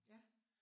Ja